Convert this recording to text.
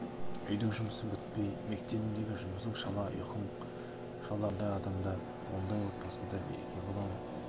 үйдің жұмысы бітпей мектебіңдегі жұмысың шала ұйқың шала ондай адамда ондай отбасында береке бола ма